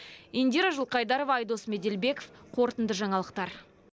индира жылқайдарова айдос меделбеков қорытынды жаңалықтар